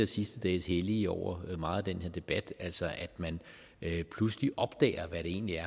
sidste dages hellige over meget af den her debat altså at man pludselig opdager hvad det egentlig